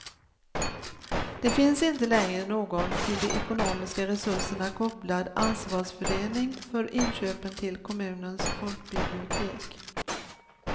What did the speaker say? Det finns inte längre någon till de ekonomiska resurserna kopplad ansvarsfördelning för inköpen till kommunens folkbibliotek.